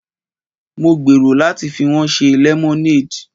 Mo gbèrò láti fi wọ́n ṣe lemonade.